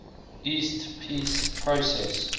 east peace process